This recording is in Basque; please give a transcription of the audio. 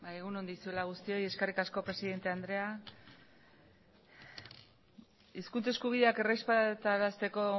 egun on guztioi eskerrik asko presidente andrea hizkuntza eskubideak errespetarasteko